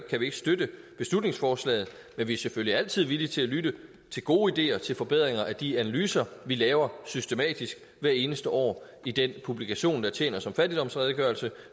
kan vi ikke støtte beslutningsforslaget men vi er selvfølgelig altid villige til at lytte til gode ideer til forbedringer af de analyser vi laver systematisk hvert eneste år i den publikation der tjener som fattigdomsredegørelse